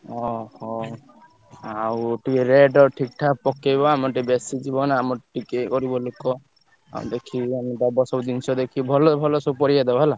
ଓହୋ! ଆଉ ଟିକେ rate ଠିକ୍ ଠାକ୍ ପକେଇବ ଆମର ଟିକେ ବେଶୀ ଯିବ ନା ଆମର ଟିକେ ଗରିବ ଲୋକ ଆଉ ଦେଖିକି ତାହେଲେ ଦବ ସବୁ ଜିନିଷ ଦେଖି ଭଲ ଭଲ ସବୁ ପରିବା ଦବ ହେଲା।